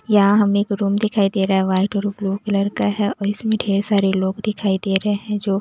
यहाँ हमें एक रूम दिखाई दे रहा है वाइट और ब्लू कलर का है और इसमें ढेर सारे लोग दिखाई दे रहे हैं जो--